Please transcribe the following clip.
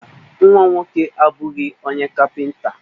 Mba, nwa m nwoke abụghị onye kapịnta.